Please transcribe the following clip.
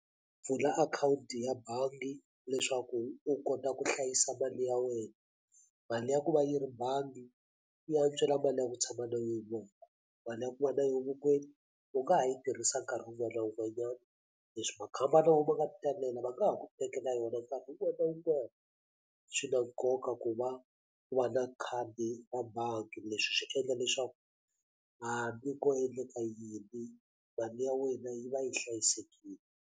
Pfula akhawunti ya bangi leswaku u kota ku hlayisa mali ya wena mali ya ku va yi ri bangi yi antswela mali ya ku tshama na mali ya ku va na yo vokweni u nga ha yi tirhisa nkarhi wun'wana wun'wanyana leswi makhamba na wo ma nga ti talela va nga ha ku tekela yona nkarhi wun'wana na wun'wana swi na nkoka ku va u va na khadi ra bangi leswi swi endla leswaku hambi ko endleka yini bangi ya wena yi va yi hlayisekile.